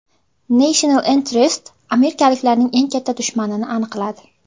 National Interest amerikaliklarning eng katta dushmanini aniqladi.